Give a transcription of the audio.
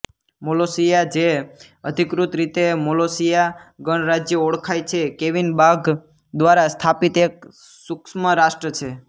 Molossia જે અધિકૃત રીતે મોલોસિયા ગણરાજ્ય ઓળખાય છે કેવિન બાઘ દ્વારા સ્થાપિત એક સુક્ષ્મરાષ્ટ્ર છે